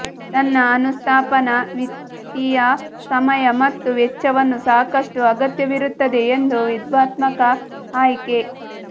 ತನ್ನ ಅನುಸ್ಥಾಪನಾ ವಿತ್ತೀಯ ಸಮಯ ಮತ್ತು ವೆಚ್ಚವನ್ನು ಸಾಕಷ್ಟು ಅಗತ್ಯವಿರುತ್ತದೆ ಎಂದು ವಿವಾದಾತ್ಮಕ ಆಯ್ಕೆ